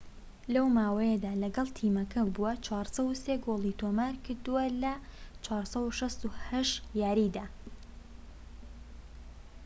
لەو ماوەیەدا کە لەگەڵ تیمەکە بووە، ٤٠٣ گۆڵی تۆمار کردووە لە ٤٦٨ یاریدا